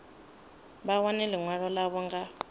vha wane ḽiṅwalo ḽavho nga